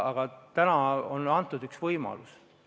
Aga nüüd on antud üks võimalus.